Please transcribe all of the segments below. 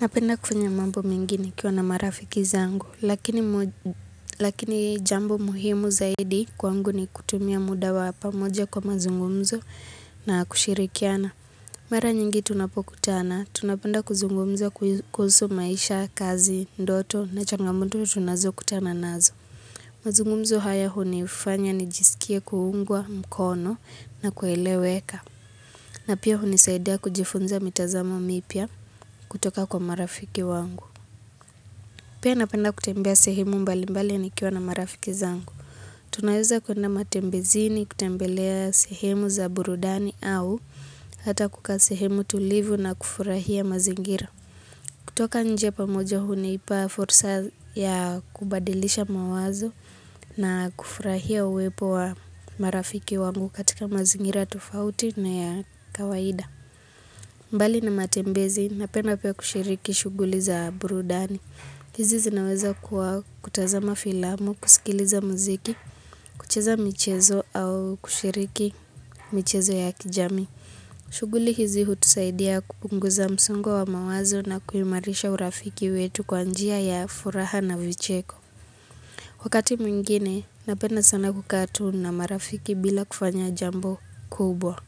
Napenda kufanya mambo mingi nikiwa na marafiki zangu, lakini jambo muhimu zaidi kwangu ni kutumia muda wa pamoja kwa mazungumzo na kushirikiana. Mara nyingi tunapokutana, tunapenda kuzungumza kuhusu maisha, kazi, ndoto na changamotu tunazokutana nazo. Mazungumzo haya hunifanya nijisikie kuungwa mkono na kueleweka. Na pia hunisaidia kujifunza mitazamo mipya kutoka kwa marafiki wangu. Pia napenda kutembea sehemu mbalimbali nikiwa na marafiki zangu. Tunaweza kuenda matembezini kutembelea sehemu za burudani au hata kukaa sehemu tulivu na kufurahia mazingira. Kutoka nje pamoja hunipa fursa ya kubadilisha mawazo na kufurahia uwepo wa marafiki wangu katika mazingira tofauti na ya kawaida. Mbali na matembezi napenda pia kushiriki shughuli za burudani. Hizi zinaweza kuwa kutazama filamu, kusikiliza muziki, kucheza michezo au kushiriki michezo ya kijamii. Shughuli hizi hutusaidia kupunguza msongo wa mawazo na kuimarisha urafiki wetu kwa njia ya furaha na vicheko. Wakati mwingine, napenda sana kukaa tu na marafiki bila kufanya jambo kubwa.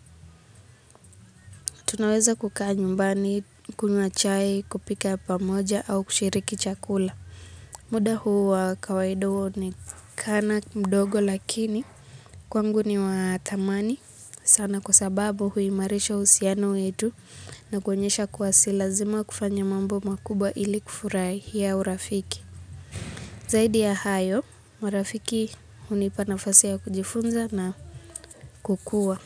Tunaweza kukaa nyumbani, kunywa chai, kupika pamoja au kushiriki chakula. Muda huu wa kawaida huonekana mdogo lakini kwangu ni wa thamani. Sana kwa sababu huimarisha uhusiano wetu na kuonyesha kuwa si lazima kufanya mambo makubwa ili kufurahia urafiki. Zaidi ya hayo, marafiki hunipa nafasi ya kujifunza na kukua.